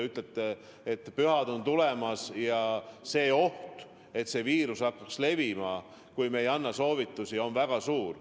Jah, pühad on tulemas ja oht, et viirus hakkab levima, kui me ei anna konkreetseid soovitusi, on väga suur.